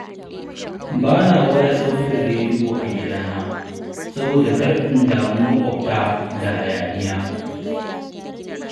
Ba na ware sautin rediyo a gidana, saboda kar in dami maƙwabta da hayaniya.